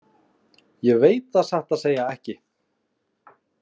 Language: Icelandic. Ég veit það satt að segja ekki.